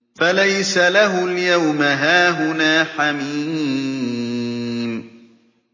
فَلَيْسَ لَهُ الْيَوْمَ هَاهُنَا حَمِيمٌ